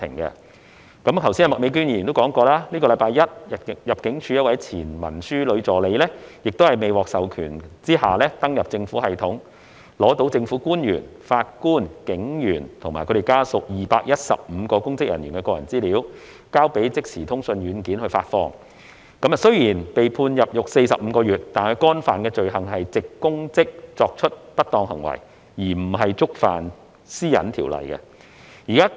正如麥美娟議員剛才提到，本周一，入境事務處一位前文書女助理在未獲授權下登入政府系統，取得政府官員、法官、警員和家屬等215名公職人員的個人資料，交予即時通訊軟件發放，雖然被判入獄45個月，但她干犯的罪行是藉公職作出不當行為，而不是觸犯《個人資料條例》。